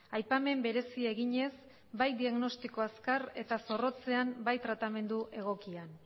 aipamen berezi eginez bai diagnostiko azkar eta zorrotzean eta bai tratamendu egokian